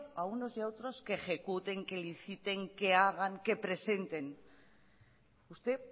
a unos y a otros que ejecuten que inciten que hagan que presenten usted